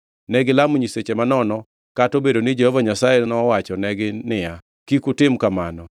Negilamo nyiseche manono, kata obedo ni Jehova Nyasaye nowachonegi niya, “Kik utim kamano.”